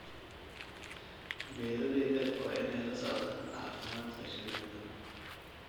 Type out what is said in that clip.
Beeralayda waa inay la socdaan caafimaadka shinnida.